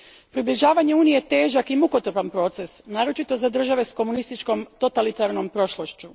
Približavanje Uniji je težak i mukotrpan proces, naročito za države s komunističkom, totalitarnom prošlošću.